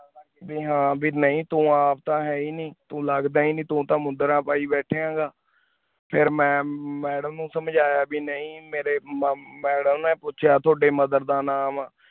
B ਹਨ ਬੀ ਨਾਈ ਤੂੰ ਆਪ ਤਾ ਹੈ ਹੀ ਨਾਈ ਤੂ ਲਗਦਾ ਏਈ ਨਾਈ ਤੂ ਤਾਂ ਮੁੰਦਰਾਂ ਪੀ ਬਯ੍ਤਾਯਾਂ ਹੇਯ੍ਗਿਆ ਫਿਰ ਮੈਂ madam ਨੂ ਸੰਜਯ ਨਾਈ ਮੇਰੇ ਮੁਮ ਮਾਡਲ ਨੀ ਪੋਚਿਆ ਤਵਾਦੀ mother ਦਾ ਨਾਮ ਵਾ